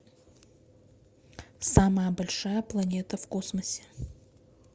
самая большая планета в космосе